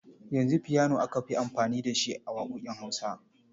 Yanzu fiyano aka fi amfani da shi a waƙoƙin Hausa.